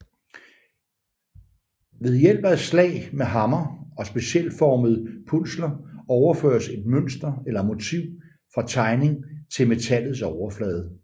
Ved hjælp af slag med hammer og specialformede punsler overføres et mønster eller motiv fra tegning til metallets overflade